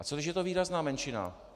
A co když je to výrazná menšina?